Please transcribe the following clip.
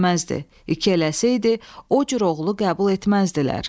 İki eləsəydi, o cür oğulu qəbul etməzdilər.